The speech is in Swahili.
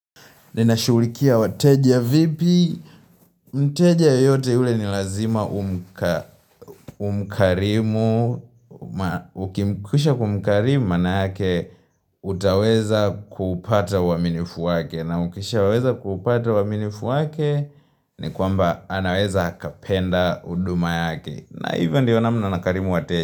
Ninashughulikia wateja vipi, mteja yoyote ule ni lazima umkarimu, ukimkisha kumkarimu manake, utaweza kupata uaminifu wake, na ukisha weza kupata uaminifu wake, ni kwamba anaweza akapenda huduma yake, na hivyo ndiyo namna nakarimu wateja.